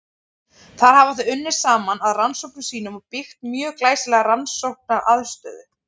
Þar hafa þau unnið saman að rannsóknum sínum og byggt upp mjög glæsilega rannsóknaraðstöðu.